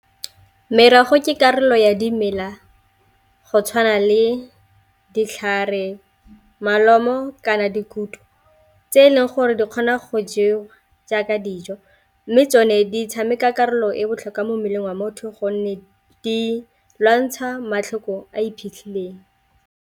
Merogo ke karolo ya dimela go tshwana le ditlhare molomo kana dikutu tse e leng gore di kgona go jewa jaaka dijo, mme tsone di tshameka karolo e botlhokwa mo mmeleng wa motho gonne di lwantsha matlhoko a iphitlhileng.